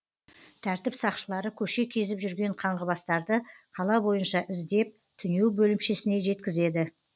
тәртіп сақшылары көше кезіп жүрген қаңғыбастарды қала бойынша іздеп түнеу бөлімшесіне жеткізеді